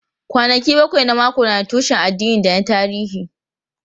Kwanaki bakwai na mako na da tushen addini da na tarihi.